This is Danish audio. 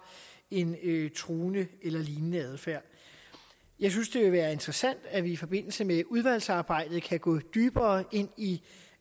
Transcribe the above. en truende eller lignende adfærd jeg synes det vil være interessant at vi i forbindelse med udvalgsarbejdet kan gå dybere ind i